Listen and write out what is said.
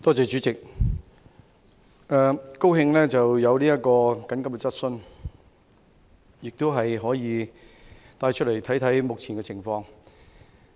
主席，對於這項急切質詢，我感到高興，這項質詢可以讓我們看看目前的情況。